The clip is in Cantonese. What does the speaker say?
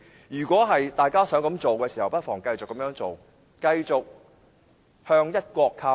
如果大家想這樣做，不妨繼續這樣做，繼續向"一國"靠攏。